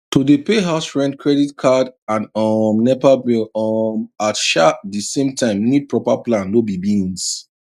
to dey pay house rent credit card and um nepa bill um at um di same time need proper plan no be beans